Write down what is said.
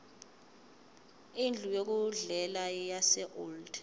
indlu yokudlela yaseold